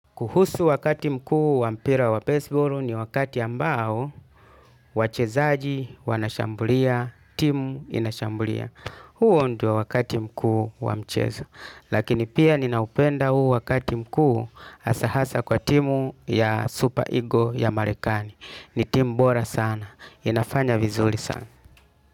Kuhusu wakati mkuu wa mpira wa baseball ni wakati ambao wachezaji wanashambulia, timu inashambulia. Huo ndio wakati mkuu wa mchezo, lakini pia ninaupenda huu wakati mkuu hasa hasa kwa timu ya Super Ego ya Marekani. Ni timu bora sana, inafanya vizuri sana.